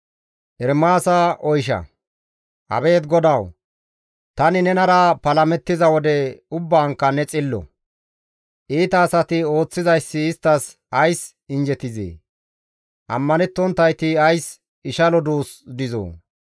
Abeet GODAWU! Tani nenara palamettiza wode ubbaankka ne xillo. Iita asati ooththizayssi isttas ays injjetizee? Ammanettonttayti ays ishalo duus dizoo?